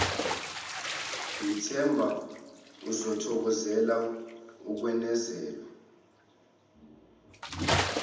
ngithemba uzokuthokozela ukwenezelwa